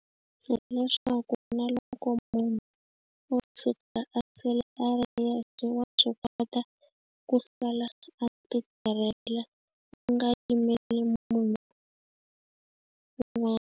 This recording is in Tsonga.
Hileswaku na loko munhu o tshuka a sele a ri yexe wa swi kota ku sala a ti tirhela u nga yimeli munhu .